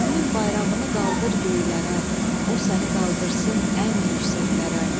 Elmin bayrağını qaldır göylərə, o səni qaldırsın ən yüksəklərə.